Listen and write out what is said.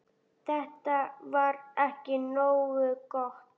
Þetta var ekki nógu gott.